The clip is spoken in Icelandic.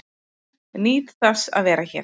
Nýt þess að vera hér